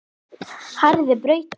Harðri baráttu lokið.